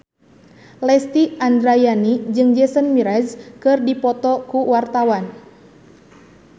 Lesti Andryani jeung Jason Mraz keur dipoto ku wartawan